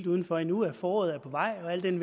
uden for endnu at foråret er på vej al den